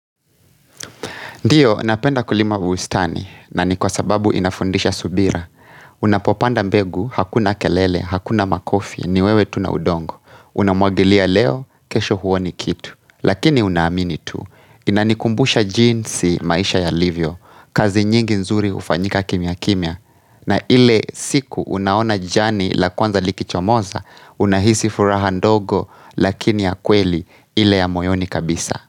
Ndiyo, napenda kulima bustani, na ni kwa sababu inafundisha subira. Unapopanda mbegu, hakuna kelele, hakuna makofi, niwewe tuna udongo. Unamwagilia leo, kesho huoni kitu. Lakini unahamini tu, inanikumbusha jinsi maisha yalivyo. Kazi nyingi nzuri hufanyika kimya kimya. Na ile siku unaona jani la kwanza liki chomoza, unahisi furaha ndogo, lakini ya kweli ile ya moyoni kabisa.